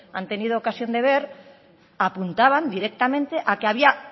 han tenido ocasión de ver apuntaban directamente a que había